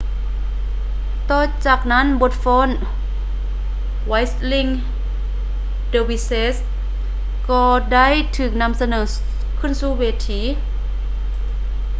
ຕໍ່ຈາກນັ້ນບົດຟ້ອນ whirling dervishes ກໍໄດ້ຖືກນໍາສະເໜີສູ່ເວທີ